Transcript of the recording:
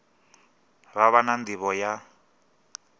vha vha na nḓivho ya